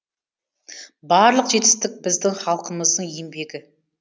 барлық жетістік біздің халқымыздың еңбегі